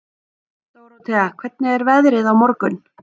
Dórótea, hvernig er veðrið á morgun?